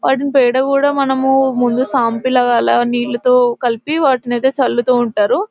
వాటిని పేడ కూడా మనము ముందు షాంపూల వల్ల నీళ్లతో కలిపి వాటిని చల్లుతూ ఉంటారు --